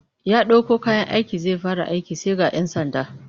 Ya ɗauko kayan aiki zai fara aiki sai ga 'yan sanda